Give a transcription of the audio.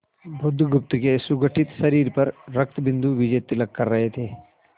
बुधगुप्त के सुगठित शरीर पर रक्तबिंदु विजयतिलक कर रहे थे